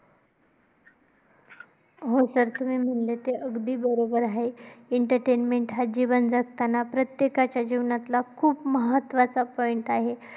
हो sir ते खरंय, तुम्ही म्हणले ते अगदी बरोबर आहे. अं entertainment हा जीवन जगताना प्रत्येकाच्या जीवनातला खूप महत्त्वाचा point आहे.